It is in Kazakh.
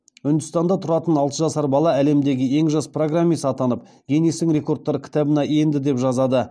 үндістанда тұратын алты жасар бала әлемдегі ең жас программист атанып гиннестің рекордтар кітабына енді деп жазады